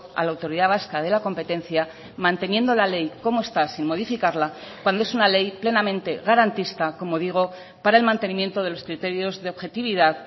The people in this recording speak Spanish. a la autoridad vasca de la competencia manteniendo la ley como está sin modificarla cuando es una ley plenamente garantista como digo para el mantenimiento de los criterios de objetividad